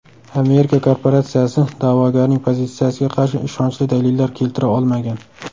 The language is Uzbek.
Amerika korporatsiyasi da’vogarning pozitsiyasiga qarshi ishonchli dalillar keltira olmagan.